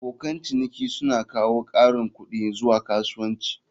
Abokan ciniki suna kawo ƙarin kuɗi zuwa kasuwancin.